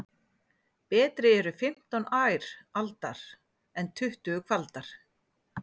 Betri eru fimmtán ær aldar en tuttugu kvaldar.